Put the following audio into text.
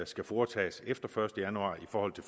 skal foretages efter første januar i forhold